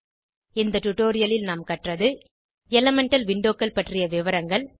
இந்த டுடோரியலில் நாம் கற்றது எலிமெண்டல் விண்டோக்கள் பற்றிய விவரங்கள்